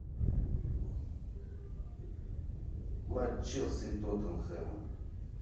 матч челси и тоттенхэма